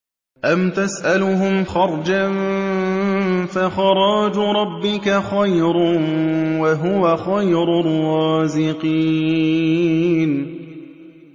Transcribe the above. أَمْ تَسْأَلُهُمْ خَرْجًا فَخَرَاجُ رَبِّكَ خَيْرٌ ۖ وَهُوَ خَيْرُ الرَّازِقِينَ